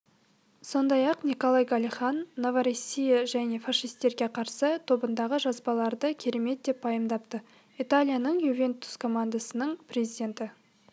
сондай-ақ николай галихин новороссия және фашисттерге қарсы тобындағы жазбаларды керемет деп пайымдапты италияның ювентус командасының президенті